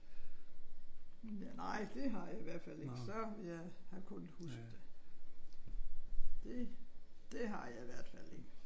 Nej det har jeg i hvert fald ikke. Så havde jeg kunnet huske det. Det det har jeg i hvert fald ikke